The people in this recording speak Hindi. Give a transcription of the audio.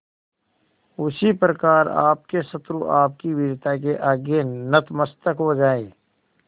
उसी प्रकार आपके शत्रु आपकी वीरता के आगे नतमस्तक हो जाएं